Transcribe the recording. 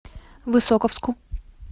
высоковску